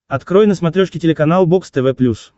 открой на смотрешке телеканал бокс тв плюс